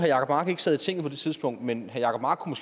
jacob mark ikke sad i tinget på det tidspunkt men herre jacob mark kunne